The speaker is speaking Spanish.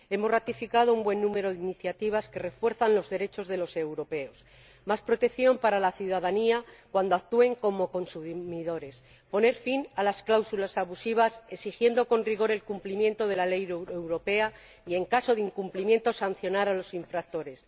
Hemos ratificado un buen número de iniciativas que refuerzan los derechos de los europeos más protección para la ciudadanía cuando actúa como consumidora, poner fin a las cláusulas abusivas exigiendo con rigor el cumplimiento de la ley europea y, en caso de incumplimiento, sancionar a los infractores.